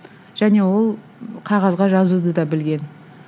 және ол қағазға жазуды да білген